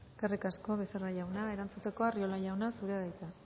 eskerrik asko becerra jauna erantzuteko arriola jauna zurea da hitza